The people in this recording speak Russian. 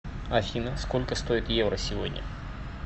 афина сколько стоит евро сегодня